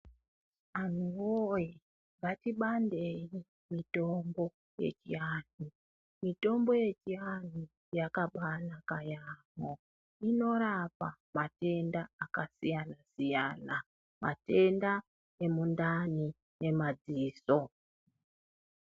Antuwoye ngatibandei mutombo yechianhu. Mitombo yechianhu yakabanaka yaambo, inorapa matenda akasiyana siyana, matenda emundani nematenda emadziso.